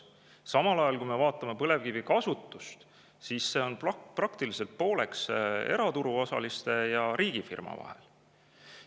Samal ajal on põlevkivi kasutus peaaegu pooleks eraturu osaliste ja riigifirma vahel.